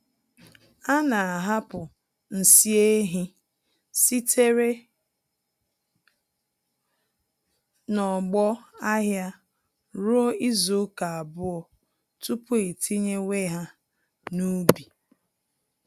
Ana ahapụ nsị ehi sitere n'ọgbọ ahịa ruo izuka abụọ tupu etinyewe ha n'ubi